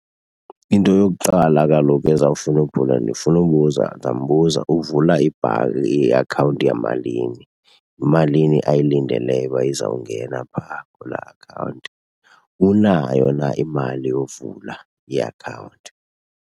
Into yokuqala kaloku ezawufuna ndifuna ubuza, ndizambuza uvula ibhanki iakhawunti yamalini, yimalini ayilindeleyo uba izawungena phaa kulaa akhawunti. Unayo na imali yovula iakhawunti.